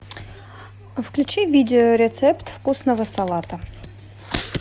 включи видео рецепт вкусного салата